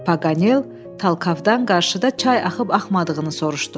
Paqanel Talkovdan qarşıda çay axıb-axmadığını soruşdu.